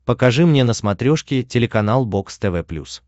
покажи мне на смотрешке телеканал бокс тв плюс